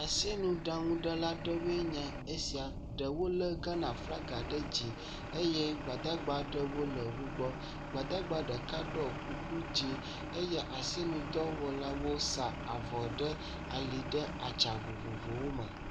Esinuɖaŋuɖela ɖewoe nye esia ɖewo lé Ghana flaga ɖe dzi eye gbadagbawo le wo gbɔ, gbadagba ɖeka ɖɔ kuku dzɛ̃ eye asinudɔwɔlawo sa avɔ ɖe ali ɖe atsa vovovowo me.